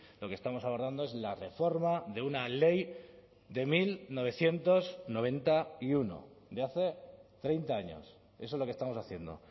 lo que estamos abordando es la reforma de una ley de mil novecientos noventa y uno de hace treinta años eso es lo que estamos haciendo